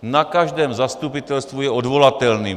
Na každém zastupitelstvu je odvolatelný.